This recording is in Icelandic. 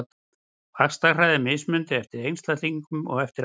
Vaxtarhraði er mismunandi eftir einstaklingum og eftir aldri.